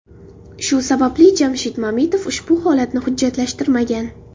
Shu sababli Jamshid Mamitov ushbu holatni hujjatlashtirmagan.